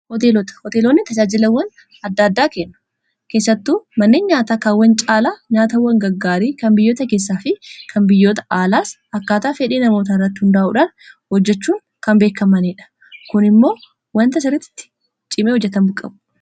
hooteelota hoteelonni tajaajilawwan adda-addaa kennu keessattuu manneen nyaataa kaawwan caalaa nyaatawwan gaggaarii kan biyyoota keessaa fi kan biyyoota aalaas akkaataa fedhii namoota irratti hunraa'uudhan hojjechuun kan beekamanii dha kun immoo wanta sirrittitti ciimee hojjatamuu qabuu